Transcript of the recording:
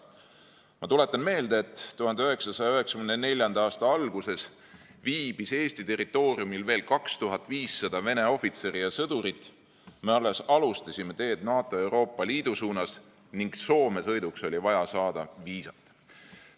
Ma tuletan meelde, et 1994. aasta alguses viibis Eesti territooriumil veel 2500 Vene ohvitseri ja sõdurit, me alles alustasime teed NATO ja Euroopa Liidu suunas ning Soome sõiduks oli vaja saada viisat.